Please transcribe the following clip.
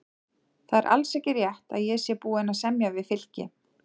Það er alls ekki rétt að ég sé búinn að semja við Fylki.